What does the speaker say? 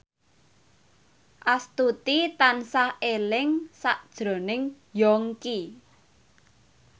Astuti tansah eling sakjroning Yongki